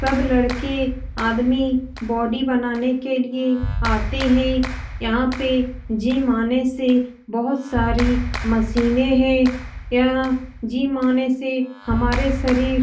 सब लड़के आदमी बॉडी बनाने के लिए आते हैं यहाँ पे जिम आने से बहुत सारी मशीने हैं | यह जिम आने से हमारे शरीर --